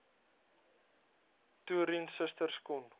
toerien susters kon